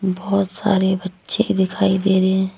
बहोत सारे बच्चे दिखाई दे रहे हैं।